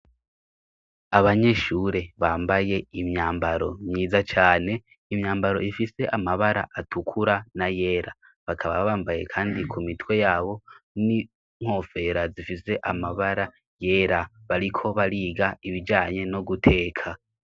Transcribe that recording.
Abanyeshure bambaye imyambaro myiza cane, imyambaro ifise amabara atukura n'ayera. Bakaba bambaye kandi ku mitwe yabo n'inkofera zifise amabara yera. Bariko bariga ibijanye no guteka.